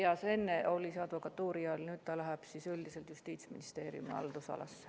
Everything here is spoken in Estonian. Ja see enne oli advokatuuri all, nüüd läheb üldiselt Justiitsministeeriumi haldusalasse.